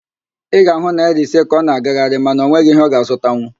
Ị ga-ahụ naịra ise ka ọ na-agagharị mana ọ nweghị ihe ọ ga-azụtanwu